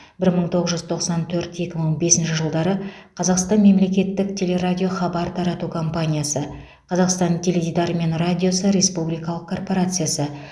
бір мың тоғыз жүз тоқсан төрт екі мың бесінші жылдары қазақстан мемлекеттік телерадио хабар тарату компаниясы қазақстан теледидары мен радиосы республикалық корпорациясы